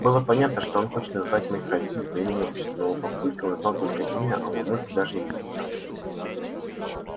было понятно что он хочет назвать моих родителей по имени отчеству но у папульки он знал только имя а у мамульки даже имени не знал